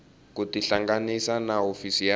ku tihlanganisa na hofisi ya